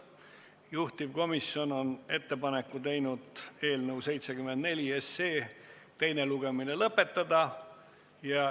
Juhtivkomisjon on teinud ettepaneku eelnõu 74 teine lugemine lõpetada.